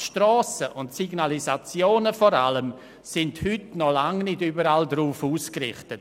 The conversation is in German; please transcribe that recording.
Aber die Strassen und vor allem die Signalisationen sind heute noch lange nicht überall darauf ausgerichtet.